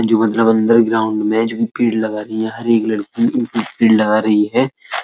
जो मतलब अंदर ग्राउंड में जो पेड़ लगा रही हैं हर एक लड़की एक-एक पेड़ लगा रही है।